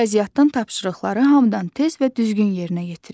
Riyaziyyatdan tapşırıqları hamıdan tez və düzgün yerinə yetirir.